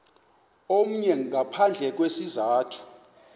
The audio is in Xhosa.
omnye ngaphandle kwesizathu